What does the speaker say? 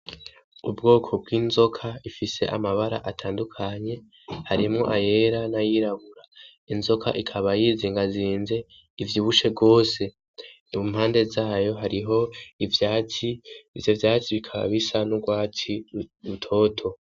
Ubwoko bw'inzoka ifise amabara atandukanye harimwo ayera n'ayirabura inzoka ikaba yizi ingazinze ivyo ibushe rwose mumpande zayo hariho ivyaci ivyo vyati bikaba bisa n'urwaci utoto.